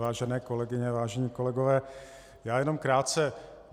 Vážené kolegyně, vážení kolegové, já jenom krátce.